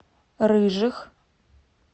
рыжих